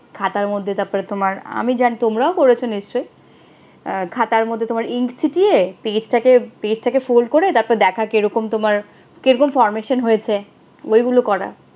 খাতার মধ্যে তারপরে তোমার, আমি জানি তোমারও করেছো নিশ্চয়। আহ খাতার মধ্যে তোমার ink ছিটিয়ে page টাকে page টাকে fold করে তারপরে দেখা কিরকম তোমার কিরকম formation হয়েছে। ঐগুলো করা।